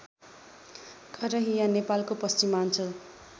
करहिया नेपालको पश्चिमाञ्चल